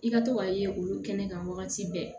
I ka to ka ye olu kɛnɛ kan wagati bɛɛ